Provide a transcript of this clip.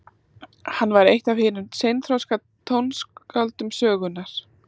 hann var eitt af hinum seinþroska tónskáldum sögunnar